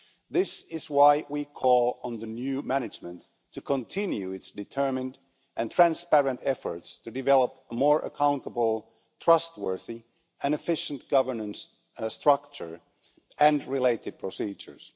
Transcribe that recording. This is why we call on the new management to continue its determined and transparent efforts to develop a more accountable, trustworthy and efficient governance structure and related procedures.